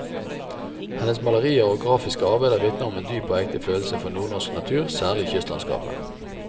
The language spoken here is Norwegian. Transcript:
Hennes malerier og grafiske arbeider vitner om dyp og ekte følelse for nordnorsk natur, særlig kystlandskapet.